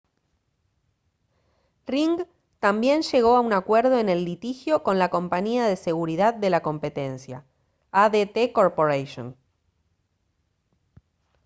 ring también llegó a un acuerdo en el litigio con la compañía de seguridad de la competencia adt corporation